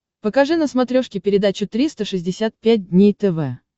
покажи на смотрешке передачу триста шестьдесят пять дней тв